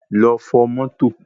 Lọ fọ̀ mọ́tò